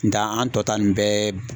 Nga an tɔta nin bɛɛ